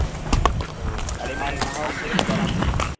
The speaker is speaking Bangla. ও আর এমনি আনতে গেলে জল আনতে গেলে